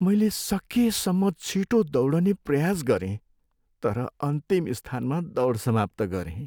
मैले सकेसम्म छिटो दौडने प्रयास गरेँ तर अन्तिम स्थानमा दौड समाप्त गरेँ।